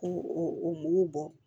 K'u u b'u bɔ